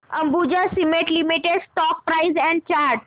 Ambuja cement limited stock price and chart